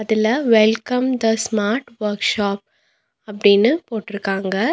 இதுல welcome the smart workshop அப்டின்னு போட்ருக்காங்க.